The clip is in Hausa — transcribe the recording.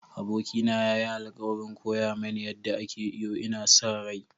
Abokina ya yi alkawarin koya mani yadda ake iyo, ina sa rai.